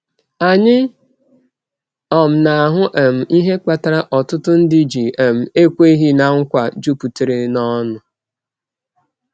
Anyị um na-ahụ um ihe kpatara ọtụtụ ndị ji um ekweghị ná nkwa juputara n’ọṅụ.